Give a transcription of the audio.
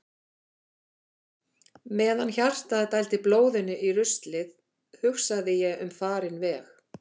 Meðan hjartað dældi blóðinu í ruslið hugsaði ég um farinn veg.